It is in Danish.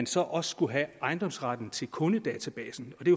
så også skulle have ejendomsretten til kundedatabasen og det